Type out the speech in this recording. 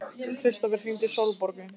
Kristófer, hringdu í Sólborgu.